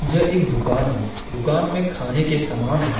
येह एक दूकान है दूकान में खाने के समान है।